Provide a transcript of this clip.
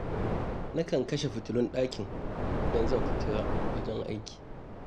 Na kan kashe fitulun ɗakin idan zan fita wajen aiki.